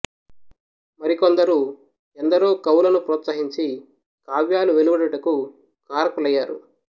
మరి కొందరు ఎందరో కవులను ప్రోత్సహించి కావ్యాలు వెలువడుటకు కారకులయ్యారు